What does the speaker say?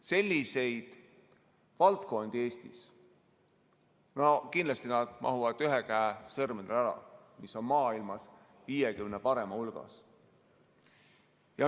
Sellised valdkonnad Eestis kindlasti mahuvad ühe käe sõrmedele ära, mis on maailmas 50 parema hulgas.